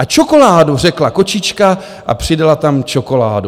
A čokoládu, řekla kočička a přidala tam čokoládu.